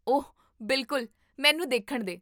ਓਹ, ਬਿਲਕੁਲ, ਮੈਨੂੰ ਦੇਖਣ ਦੇ!